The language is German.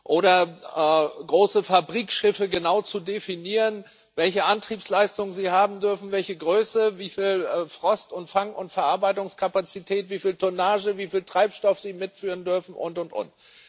oder große Fabrikschiffe genau zu definieren, welche Antriebsleistung sie haben dürfen, welche Größe, wieviel Frost, Fang und Verarbeitungskapazität, wieviel Tonnage, wieviel Treibstoff sie mitführen dürfen und, und, und.